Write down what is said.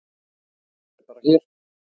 Þetta er bara hér.